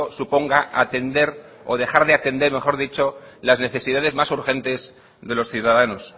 suponga atender o dejar de atender mejor dicho las necesidades más urgentes de los ciudadanos